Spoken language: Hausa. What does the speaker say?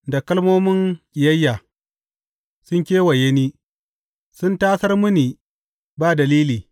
Da kalmomin ƙiyayya sun kewaye ni; sun tasar mini ba dalili.